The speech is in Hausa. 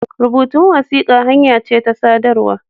Rubutun wasiƙa hanya ce ta sadarwa.